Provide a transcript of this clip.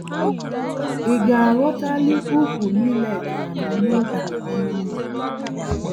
Ịgaaghọtali úkwú millet anọ n'otu ọnụ mmá